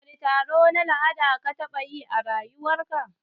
Wani taro na la'ada ka taɓa yi a rayuwar ka?